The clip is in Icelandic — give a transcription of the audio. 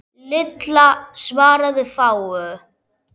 Lilla svaraði fáu.